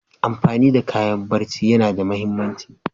Amfani da kayan barci yana da muhimmanci.